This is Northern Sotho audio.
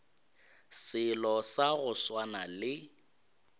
selo sa go swana le